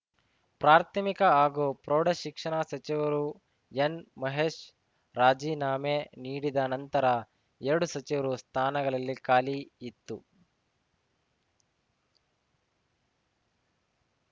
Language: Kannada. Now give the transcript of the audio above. ಪ್ರಾಥಮಿಕ ಹಾಗೂ ಪ್ರೌಢ ಶಿಕ್ಷಣ ಸಚಿವರು ಎನ್‌ ಮಹೇಶ್‌ ರಾಜೀನಾಮೆ ನೀಡಿದ ನಂತರ ಎರಡು ಸಚಿವ ಸ್ಥಾನಗಳಲ್ಲಿ ಖಾಲಿ ಇತ್ತು